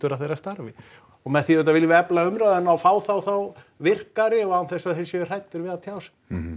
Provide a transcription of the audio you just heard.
að þeirra starfi og með því auðvitað viljum við efla umræðuna og fá þá þá virkari og án þess að þeir séu hræddir við að tjá sig